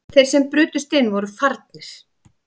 Þeir sem brutust inn voru farnir